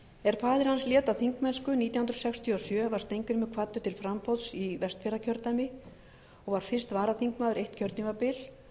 er faðir hans lét af þingmennsku nítján hundruð sextíu og sjö var steingrímur kvaddur til framboðs í vestfjarðakjördæmi og var fyrst varaþingmaður eitt kjörtímabil